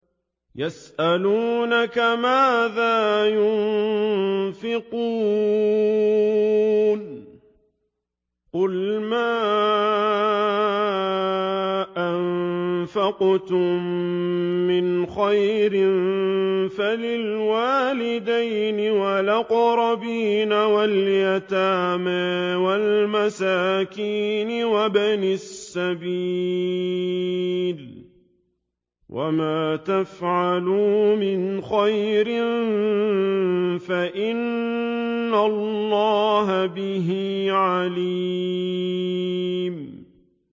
يَسْأَلُونَكَ مَاذَا يُنفِقُونَ ۖ قُلْ مَا أَنفَقْتُم مِّنْ خَيْرٍ فَلِلْوَالِدَيْنِ وَالْأَقْرَبِينَ وَالْيَتَامَىٰ وَالْمَسَاكِينِ وَابْنِ السَّبِيلِ ۗ وَمَا تَفْعَلُوا مِنْ خَيْرٍ فَإِنَّ اللَّهَ بِهِ عَلِيمٌ